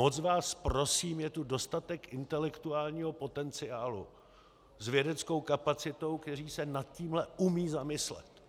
Moc vás prosím, je tu dostatek intelektuálního potenciálu s vědeckou kapacitou, kteří se nad tímhle umí zamyslet